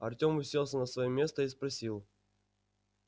артем уселся на своё место и спросил